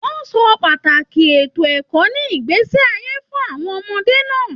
Wọn sọ pàtàkì ètò ẹ̀kọ́ ní ìgbésí ayé fún àwọn ọmọdé náà.